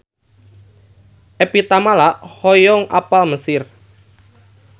Evie Tamala hoyong apal Mesir